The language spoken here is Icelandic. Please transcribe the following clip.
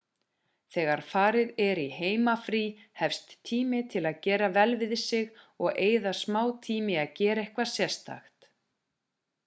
þegar farið er í heimafrí efst tími til að gera vel við sig og eyða smá tíma í að gera eitthvað sérstakt